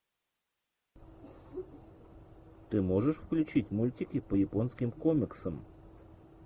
ты можешь включить мультики по японским комиксам